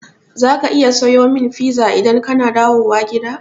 Za ka iya sayo min pizza idan kana dawowa gida?